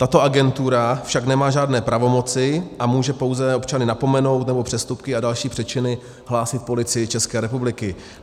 Tato agentura však nemá žádné pravomoci a může pouze občany napomenout nebo přestupky a další přečiny hlásit Policii České republiky.